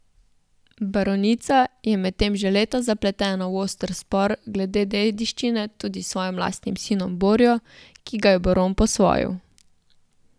Baronica je medtem že leta zapletena v oster spor glede dediščine tudi s svojim lastnim sinom Borjo, ki ga je baron posvojil.